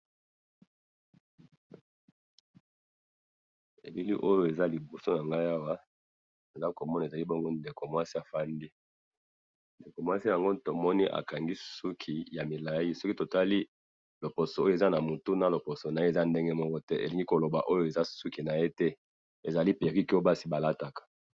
elili oyo eza liboso na ngai awa, naza ko mona ezali bongo ndeko mwasi afandi, ndeko mwasi yango tomoni akangi suki ya milai, soki totali loposo oyo eza na mutu na loposo naye eza ndenge moko te, elingi ko loba oyo eza suki naye te, ezali perruque oyo basi ba lataka